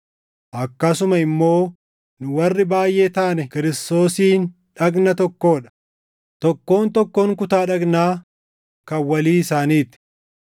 akkasuma immoo nu warri baayʼee taane Kiristoosiin dhagna tokkoo dha; tokkoon tokkoon kutaa dhagnaa kan walii isaanii ti.